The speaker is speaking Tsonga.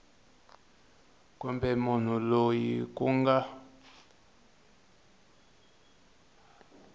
kumbe munhu loyi ku nga